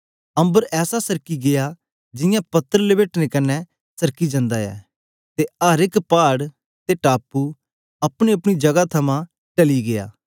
अम्बर ऐसा सरकी गीया जियां पत्र लपेटने कन्ने सरकी जांदा ऐ ते अर एक पाड़ ते टापू अपनेअपने जगह थमां टली गीया